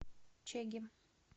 чегем